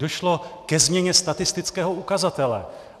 Došlo ke změně statistického ukazatele.